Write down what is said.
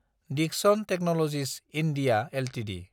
Dickson technologies (India) Ltd